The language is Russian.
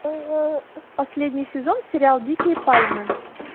последний сезон сериал дикие пальмы